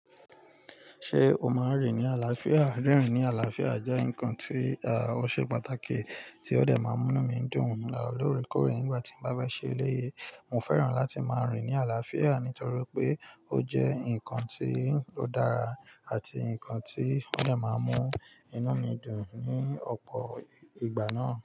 Ṣé o máa ń rìn ní àlàáfíà? Rírin ní àlàáfíà jẹ́ nǹkan tí ó ṣe pàtàkì tí ó de máa n mú nu mí dùn lóorekòore ígbà tí mo bá bá ṣe eléyìí. Mo fẹ́ràn láti máa rìn ní àlàáfíà torí pé ó jẹ́ nǹkan tí ó dára àti nǹkan tí ó de máa n mú inú mi dùn ní ọ̀pọ̀ ìgbà náà.